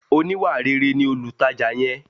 Oníwàréré ni olutaja yẹn.